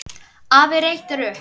Afi reytir upp.